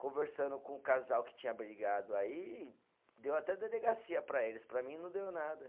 Conversando com o casal que tinha brigado aí, e deu até delegacia para eles, para mim não deu nada.